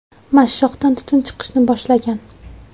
Mashshoqdan tutun chiqishni boshlagan.